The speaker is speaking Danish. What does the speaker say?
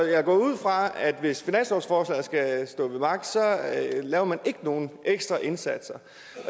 jeg går ud fra at hvis finanslovsforslaget skal stå ved magt laver man ikke nogen ekstra indsatser